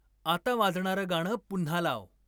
आता वाजणारं गाणं पुन्हा लाव